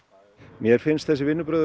mér finnst þessi vinnubrögð